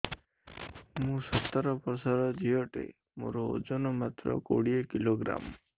ମୁଁ ସତର ବର୍ଷ ଝିଅ ଟେ ମୋର ଓଜନ ମାତ୍ର କୋଡ଼ିଏ କିଲୋଗ୍ରାମ